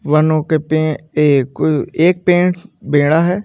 वनों के पे एक को एक पेड़ बेड़ा है।